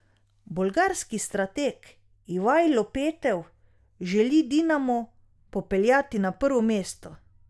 Bolgarski strateg Ivajlo Petev želi Dinamo popeljati na prvo mesto.